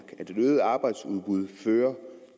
et et øget arbejdsudbud fører